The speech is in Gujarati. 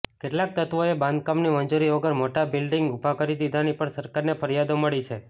કેટલાક તત્વોએ બાંધકામની મંજૂરી વગર મોટા બિલ્ડીંગ ઉભા કરી દીધાની પણ સરકારને ફરિયાદો મળી છે